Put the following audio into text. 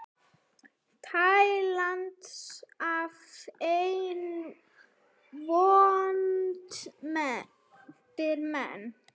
tælast af einni vondir menn